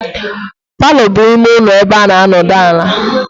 Palo bụ ime ụlọ ebe a na adona ala